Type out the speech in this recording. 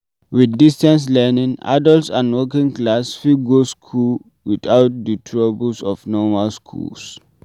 With distance learning, adults and working class fit go school without do troubles of normal schools